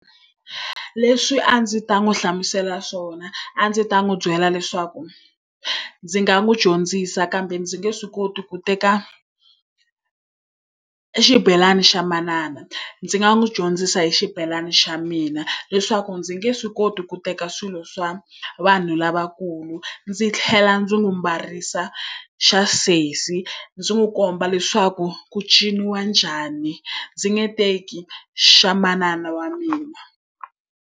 Leswi a ndzi ta n'wi hlamusela swona, a ndzi ta n'wi byela leswaku ndzi nga n'wi dyondzisa kambe ndzi nge swi koti ku teka xibelani xa manana. Ndzi nga n'wi dyondzisa hi xibelani xa mina, leswaku ndzi nge swi koti ku teka swilo swa vanhu lavakulu. Ndzi tlhela ndzi n'wi ambarisa xa sesi ndzi n'wi komba leswaku ku ciniwa njhani. Ndzi nge teki xa manana wa mina.